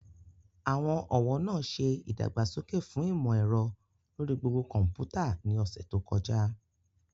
Àwọn ọ̀wọ́ náà ṣe ìdàgbàsókè fún ìmò ẹ̀rọ lórí gbogbo kọ̀ḿpútà ní ọ̀sẹ̀ tó kọjá